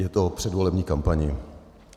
Je to o předvolební kampani.